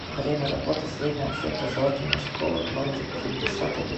время работы средняя общеобразовательная школа номер пятьдесят один